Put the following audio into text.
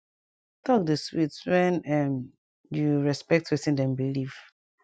talk dey sweet wen um u respect wetin dem belief